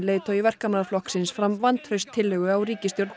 leiðtogi Verkamannaflokksins fram vantrauststillögu á ríkisstjórn